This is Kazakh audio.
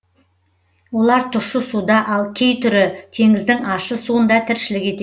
олар тұщы суда ал кей түрі теңіздің ащы суында тіршілік етеді